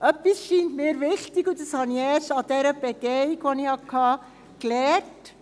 Etwas scheint mir wichtig, und das habe ich erst bei dieser Begehung, die ich hatte, gelernt: